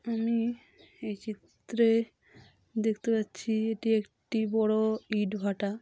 আমি-ই এই চিত্রে-এ দেখতে পাচ্ছি এটি একটি বড় ইট ভাটা।